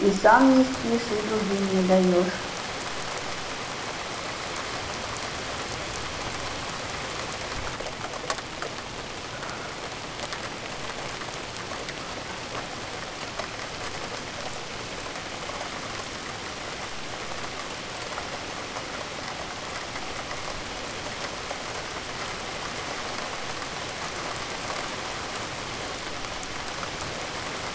и сам не спишь и другим не даёшь